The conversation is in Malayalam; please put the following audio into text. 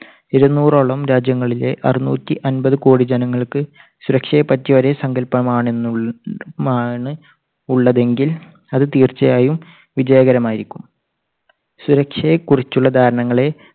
ഇരുനൂറോളം രാജ്യങ്ങളിലെ അറുനൂറ്റി അമ്പതു കോടി ജനങ്ങൾക്ക് സുരക്ഷയെപ്പറ്റി ഒരേ സങ്കല്പം ആണെന്നുള്ള മാണ് ഉള്ളതെങ്കിൽ അത് അത് തീർച്ചയായും വിജയകരമായിരിക്കും. സുരക്ഷയെക്കുറിച്ചുള്ള ധാരണകളെ